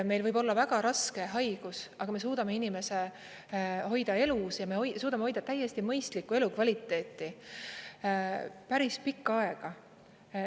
Meil võib olla väga raske haigus, aga me suudame inimese hoida elus ja me suudame hoida täiesti mõistlikku elukvaliteeti päris pikka aega.